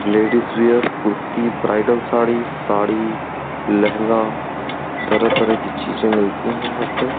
Ladies wear kurti bridal sari sari lehenga तरह-तरह की चीजें मिलती हैं यहां पे।